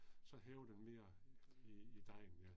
Så hæver den mere i i dejen ja